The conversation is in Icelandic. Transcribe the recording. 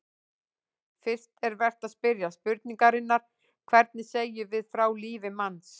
Fyrst er vert að spyrja spurningarinnar: hvernig segjum við frá lífi manns?